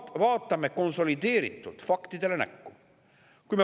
Kuid vaatame konsolideeritult faktidele näkku.